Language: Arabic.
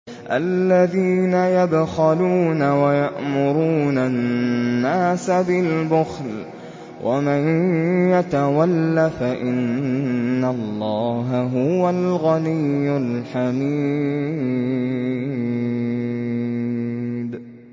الَّذِينَ يَبْخَلُونَ وَيَأْمُرُونَ النَّاسَ بِالْبُخْلِ ۗ وَمَن يَتَوَلَّ فَإِنَّ اللَّهَ هُوَ الْغَنِيُّ الْحَمِيدُ